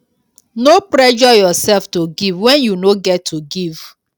no pressure yourself to give when you no get to give